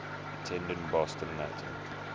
attended boston latin